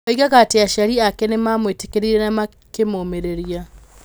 Oigaga atĩ aciari ake nĩ maamwĩtĩkĩrire na makĩmũũmĩrĩria.